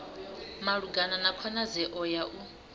malugana na khonadzeo ya u